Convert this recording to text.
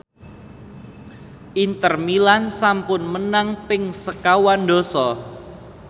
Inter Milan sampun menang ping sekawan dasa